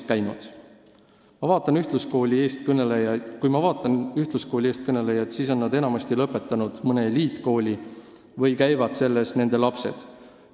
Kui ma vaatan ühtluskooli eestkõnelejaid, siis näen, et nad on enamasti lõpetanud mõne eliitkooli või käivad selles nende lapsed.